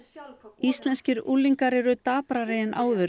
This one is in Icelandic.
íslenskir unglingar eru daprari en áður